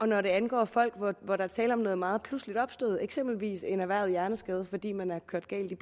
når det angår folk hvor der er tale om noget meget pludseligt opstået eksempelvis en erhvervet hjerneskade fordi man er kørt galt i